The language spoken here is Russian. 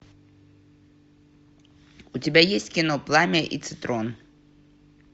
у тебя есть кино пламя и цитрон